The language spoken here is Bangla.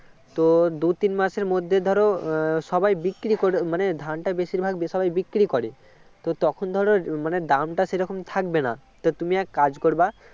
তো দুই তিন মাসের মধ্যে ধরো সবাই বিক্রি করে মানে ধানটা বেশিরভাগ সবাই বিক্রি করে তো তখন ধরো মানে দামটা সে রকম থাকবে না তুমি এক কাজ করবে